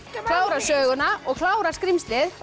klára söguna og klára skrímslið